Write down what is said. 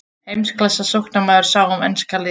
Heimsklassa sóknarmaður sá um enska liðið.